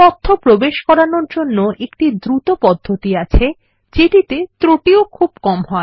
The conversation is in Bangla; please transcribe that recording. তথ্য প্রবেশ করানোর অন্য একটি দ্রুত পদ্ধতি আছে যেটিতে ত্রুটিও খুব কম হয়